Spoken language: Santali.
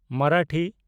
ᱢᱟᱨᱟᱴᱷᱤ